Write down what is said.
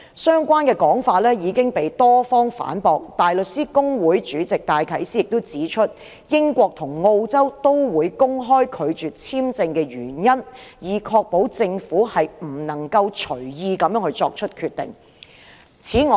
相關的說法已經被多方反駁，香港大律師公會主席戴啟思指出，英國及澳洲均會公開拒絕簽證的原因，以確保政府不能隨意作出決定。